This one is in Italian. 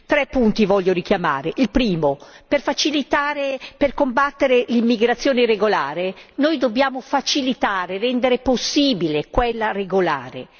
Tre punti voglio richiamare il primo, per facilitare, per combattere l'immigrazione regolare noi dobbiamo facilitare, rendere possibile quella regolare.